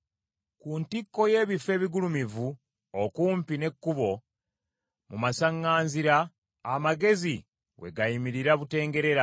Ku ntikko y’ebifo ebigulumivu okumpi n’ekkubo, mu masaŋŋanzira, amagezi we gayimirira butengerera,